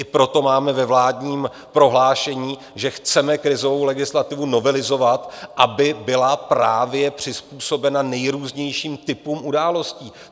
I proto máme ve vládním prohlášení, že chceme krizovou legislativu novelizovat, aby byla právě přizpůsobena nejrůznějším typům událostí.